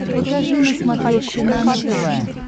покажи на смотрешке нано тв